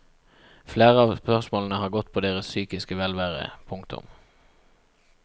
Flere av spørsmålene har gått på deres psykiske velvære. punktum